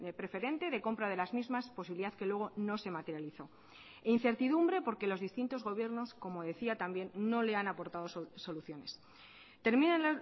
preferente de compra de las mismas posibilidad que luego no se materializó e incertidumbre porque los distintos gobiernos como decía también no le han aportado soluciones terminan